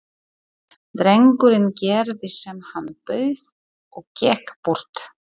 Drengurinn gerði sem hann bauð og gekk burt.